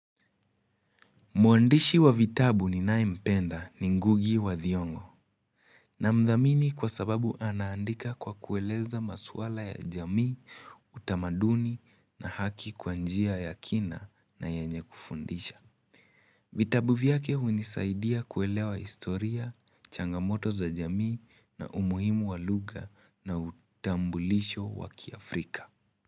Muandishi wa vitabu ni nanaye mpenda ni ngugi wa thiongo na mdhamini kwa sababu anaandika kwa kueleza maswala ya jamii, utamaduni na haki kwa njia ya kina na yenye kufundisha. Vitabu viake hunisaidia kuelewa historia, changamoto za jamii na umuhimu wa lugha na utambulisho wa kiafrika.